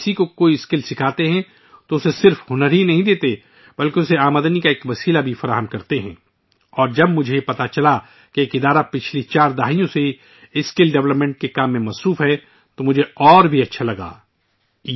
جب ہم کسی کو کوئی ہنر سکھاتے ہیں، تو ہم نہ صرف اس شخص کو وہ ہنر دیتے ہیں ، بلکہ ہم آمدنی کا ذریعہ بھی فراہم کرتے ہیں اور جب مجھے معلوم ہوا کہ ایک تنظیم گزشتہ چار دہائیوں سے اسکل ڈیولپمنٹ کے کام میں مصروف ہے تو مجھے اور بھی اچھا لگا